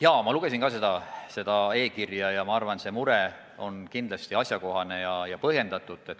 Jaa, ma lugesin ka seda e-kirja ja ma arvan, see mure on kindlasti asjakohane ja põhjendatud.